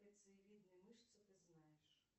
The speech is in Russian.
лицевидные мышцы ты знаешь